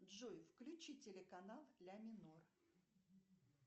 джой включи телеканал ля минор